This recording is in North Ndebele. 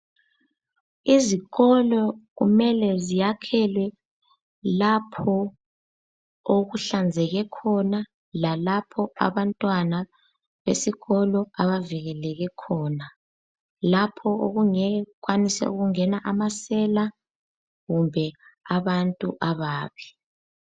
Izikolo kumele ziyakhelwe lapho okuhlanzeke khona lalapho abantwana besikolo abavikeleke khona, lapho okungeke kukwanise ukungena amasela kumbe abantu ababi.